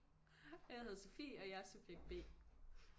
Og jeg hedder Sofie og jeg er subjekt B